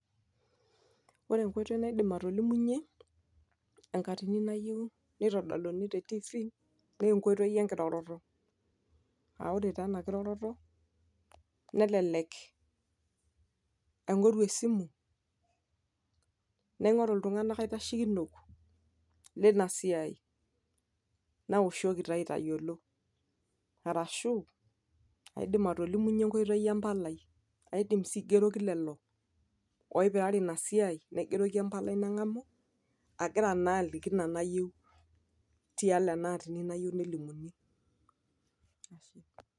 Ore enkoitoi naidim atolimunye, enkatini nayieu nitodoluni te tifi, nenkoitoi enkiroroto. Ah ore taa enakiroroto, nelelek aing'oru esimu, naing'oru iltung'anak aitashekino, linasiai. Nawoshoki taa aitayiolo. Arashu aidim atolimunye enkoitoi empalai. Naidim si aigeroki lelo oipirare inasiai, naigeroki empalai neng'amu, agira naa aliki ina nayieu, tialo enaatini nayieu nelimuni.